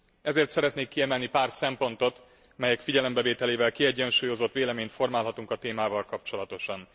Ezért szeretnék kiemelni pár szempontot, melyek figyelembevételével kiegyensúlyozott véleményt formálhatunk a témával kapcsolatosan.